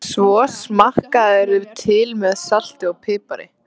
Svo smakkarðu til með salti og pipar.